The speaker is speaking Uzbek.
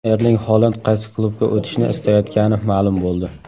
Erling Holand qaysi klubga o‘tishni istayotgani ma’lum bo‘ldi.